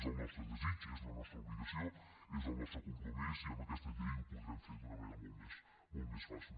és el nostre desig és la nostra obligació és el nostre compromís i amb aquesta llei ho podrem fer d’una manera molt més fàcil